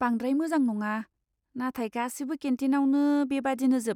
बांद्राय मोजां नङा, नाथाय गासिबो केन्टिनावनो बेबादिनोजोब।